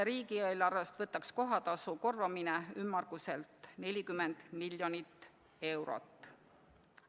Riigieelarvest võtaks kohatasu korvamine ümmarguselt 40 miljonit eurot.